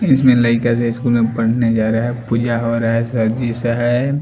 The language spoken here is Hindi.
इसमें लड़का से स्कूल पढ़ने जारा हैं पूजा होरा हैं सरजी सा हैं ।